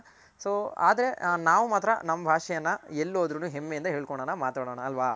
so ಆದ್ರೆ ನಾವ್ ಮಾತ್ರ ನಮ್ ಭಾಷೆಯನ್ನ ಎಲ್ ಹೋದರು ಹೆಮ್ಮೆ ಯಿಂದ ಹೇಳ್ ಕೊಳೋಣ ಮಾತಾಡೋಣ ಅಲ್ವ.